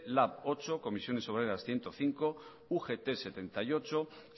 lab ocho ccoo ciento cinco ugt sesenta y ocho